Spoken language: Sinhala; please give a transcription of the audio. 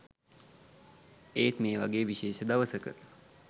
ඒත් ‍මේ වගේ විශේෂ දවසක